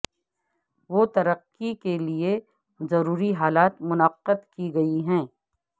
وہ ترقی کے لئے ضروری حالات منعقد کی گئی ہے